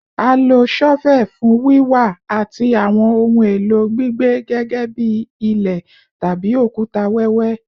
A lo shovel fun wiwa ati awọn ohun elo gbigbe gẹgẹbi ile tabi okuta wẹwẹ